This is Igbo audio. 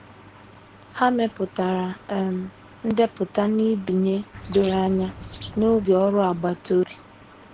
Ha mepụtara um ndepụta nbinye doro anya n'oge ọrụ agbata obi.